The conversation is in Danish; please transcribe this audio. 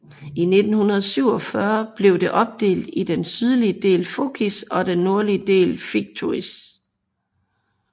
I 1947 blev det opdelt i den sydlige del Fokis og den nordlige del Fthiotis